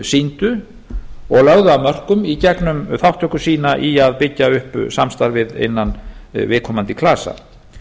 sýndu og lögðu af mörkum í gegnum þátttöku sína í að byggja upp samstarfið innan viðkomandi klasa